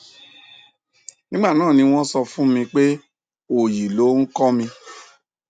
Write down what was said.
nígbà náà ni wọn sọ fún mi pé òòyì loh ń kọ mi